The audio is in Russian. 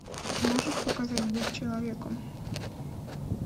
можешь показать быть человеком